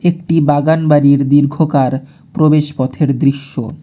একটি বাগানবাড়ির দীর্ঘকার প্রবেশ পথের দৃশ্য।